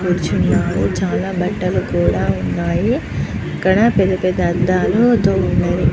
కూర్చున్నారు చాల బట్టలు కూడా ఉన్నాయి ఇక్కడ పెద్ద పెద్ద అద్దాలు తో వున్నది.